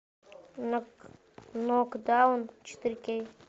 нокдаун четыре кей